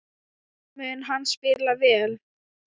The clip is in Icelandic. Mun hann spila vel?